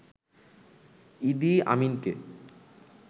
ইদি আমিনকে